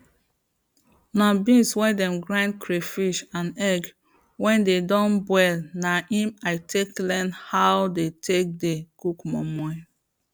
na beans wey dem grind crayfish and egg wey dey don boil na im i take learn how dey take dey cook moimoi